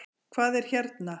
Hvað er hérna?